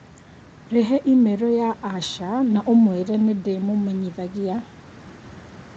Rehe i-mīrū ya Asha na ũmwĩre nĩ ndĩmũmenyithagia